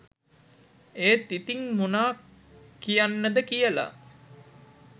ඒත් ඉතිං මොනා කියන්නද කියලා